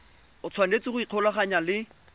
o tshwanetse go ikgolaganya le